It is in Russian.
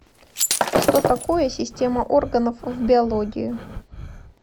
что такое система органов в биологии